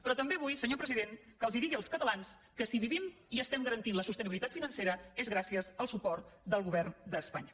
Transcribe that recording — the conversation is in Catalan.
però també vull senyor president que digui als catalans que si vivim i estem garantint la sostenibilitat financera és gràcies al suport del govern d’espanya